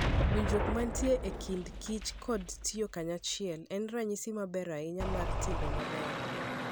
Winjruok ma nitie e kind kich koda tiyo kanyachiel, en ranyisi maber ahinya mar timbe mabeyo.